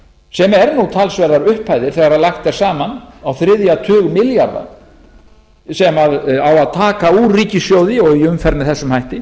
sem eru talsverðar upphæðir þegar lagt er saman á þriðja tug milljarða sem á að taka úr ríkissjóði í umferð með þessum hætti